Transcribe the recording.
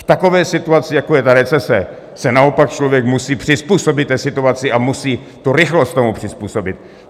V takové situaci, jako je ta recese, se naopak člověk musí přizpůsobit té situaci a musí tu rychlost tomu přizpůsobit.